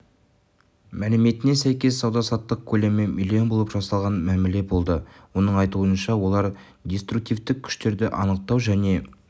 мәліметіне сәйкес сауда-саттық көлемі млн болып жасалған мәміле болды оның айтуынша олар деструктивтік күштерді анықтау және